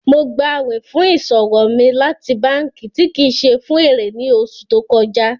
Mo gbà àwìn fún iṣọwọ mi láti bankí tí kí ṣé fun èrè ní oṣù tó kọja.